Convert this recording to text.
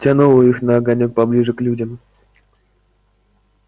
тянуло их на огонёк поближе к людям